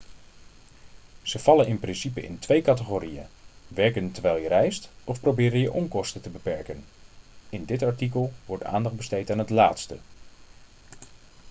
ze vallen in principe in twee categorieën werken terwijl je reist of proberen je onkosten te beperken in dit artikel wordt aandacht besteed aan het laatste